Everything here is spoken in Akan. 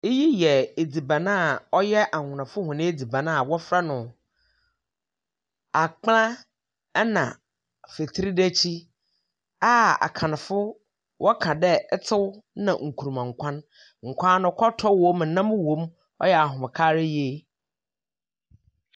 Oyi yɛ adziban a ɔyɛ Awonafo hɔn adziban a wɔfrɛ no akplɛ na fetridetsi a Akanfo wɔka dɛ itew na nkrumankwan. Nkwan no kɔtɔ wom, nam wom. Ɔyɛ ahomka ara yie.